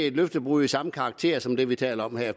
et løftebrud af samme karakter som det vi taler om her